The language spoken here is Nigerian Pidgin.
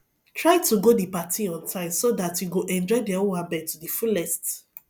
try to go di party on time so dat you go enjoy di owambe to di fullest